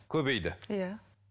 көбейді иә